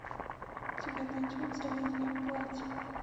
у тебя найдется летнее платье